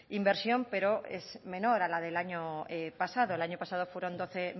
inversión pero es menor a la del año pasado el año pasado fueron doce